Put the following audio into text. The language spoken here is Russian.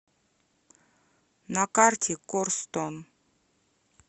на карте корстон